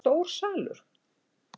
Er þetta stór salur?